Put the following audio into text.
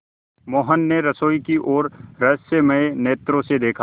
मोहन ने रसोई की ओर रहस्यमय नेत्रों से देखा